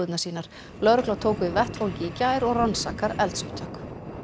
sínar lögregla tók við vettvangi í gær og rannsakar eldsupptök